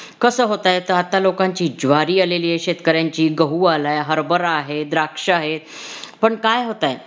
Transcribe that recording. कसं होतय आता, आत्ता लोकांची ज्वारी आलेली आहे. शेतकऱ्यांची गहू आलाय, हरभरा आहे, द्राक्ष आहे, पण काय होतय